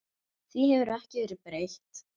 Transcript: Því hefur ekki verið breytt.